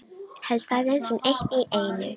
Helst aðeins um eitt í einu.